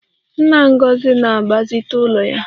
Nna Ngozi na-agbazite ụlọ ya